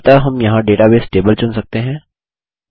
अतः हम यहाँ डेटाबेस टेबल चुन सकते हैं